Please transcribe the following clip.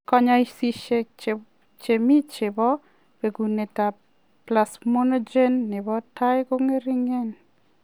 Konyoiseshiek che mi che bo bekunetab plasminogen nebo tai ko ng'ering'.